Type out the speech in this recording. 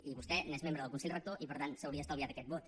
i vostè n’és membre del consell rector i per tant s’hauria estalviat aquest vot